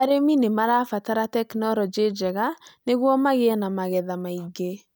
Arĩmi nĩ marabatara tekinolonjĩ njega nĩguo magĩe na magetha maingĩ.